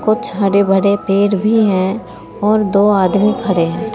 कुछ हरे भरे पेड़ भी हैं और दो आदमी खड़े हैं।